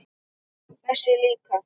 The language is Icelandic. Þessi líka